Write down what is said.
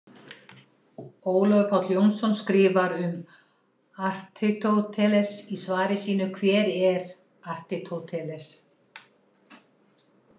Ólafur Páll Jónsson skrifar um Aristóteles í svari sínu Hver var Aristóteles?